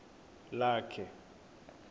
lakhe